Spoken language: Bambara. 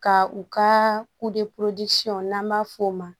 Ka u ka n'an b'a f'o ma